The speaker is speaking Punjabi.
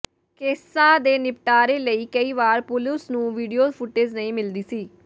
ਕੇਸਾਂ ਦੇ ਨਿਪਟਾਰੇ ਲਈ ਕਈ ਵਾਰ ਪੁਲਿਸ ਨੂੰ ਵੀਡੀਓ ਫ਼ੁਟੇਜ ਨਹੀਂ ਮਿਲਦੀ ਸੀ